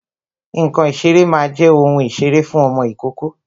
Ǹkan ìṣeré máa jẹ́ ohun ìṣeré fún ọmọ ìkókó